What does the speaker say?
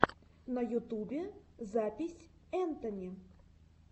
на ютубе запись энтони